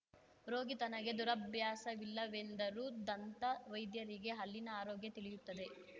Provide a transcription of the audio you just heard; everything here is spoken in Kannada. ರೋಗಿ ತನಗೆ ದುರಭ್ಯಾಸವಿಲ್ಲವೆಂದರೂ ದಂತ ವೈದ್ಯರಿಗೆ ಹಲ್ಲಿನ ಆರೋಗ್ಯ ತಿಳಿಯುತ್ತದೆ